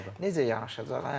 Necə yanaşacaq, hə?